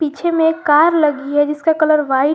पीछे में एक कार लगी है जिसका कलर व्हाइट --